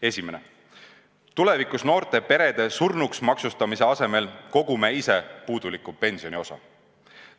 Esimene, tulevikus noorte perede surnuks maksustamise asemel kogume ise puudujääva pensioniosa.